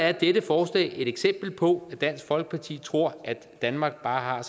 er dette forslag et eksempel på at dansk folkeparti tror at danmark bare